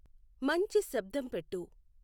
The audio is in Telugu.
మంచి శబ్దం పెట్టు